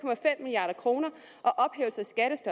milliard kroner